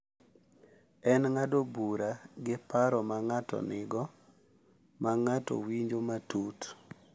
En ng’ado bura gi paro ma ng’ato nigo ma ng’ato winjo matut.